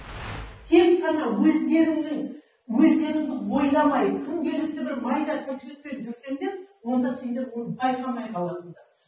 тек қана өздеріңнің өздеріңді ойламай күнделікті бір майда тіршілікпен жүрсеңдер онда сендер оны байқамай қаласыңдар